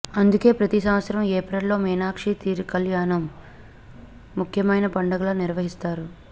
అందుకే ప్రతి సంవత్సరం ఏప్రిల్ లో మీనాక్షి తిరు కల్యాణం ముఖ్యమైన పండుగలా నిర్వహిస్తారు